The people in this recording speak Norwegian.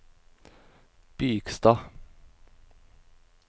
Bygstad